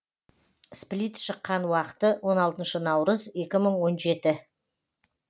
сплит шыққан уақыты он алтыншы наурыз екі мың он жеті